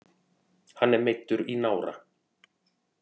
Hann er meiddur í nára